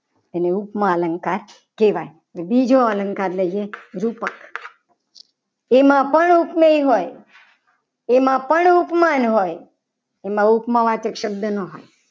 ઉપમા અલંકાર કહેવાય. અને બીજો અલંકાર લઈએ રૂપક તેમાં પણ ઉપમેય હોય. તેમાં પણ ઉપમાન હોય તેમાં ઉપમા વાચક શબ્દ ના હોય.